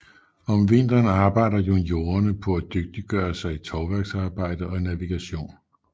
Om vinteren arbejder juniorerne på at dygtiggøre sig i tovværksarbejde og navigation